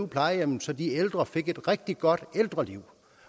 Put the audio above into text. plejehjemmet så de ældre fik et rigtig godt ældreliv